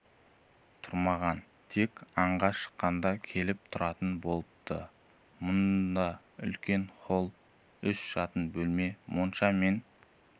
тұрмаған тек аңға шыққанда келіп тұратын болыпты мұнда үлкен холл үш жатын бөлме монша мен